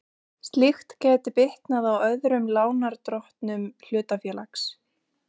Slíkt gæti bitnað á öðrum lánardrottnum hlutafélags.